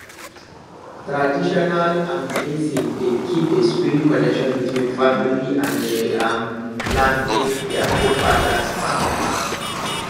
traditional land blessing dey keep the spirit connection between family and the um land wey their forefathers farm um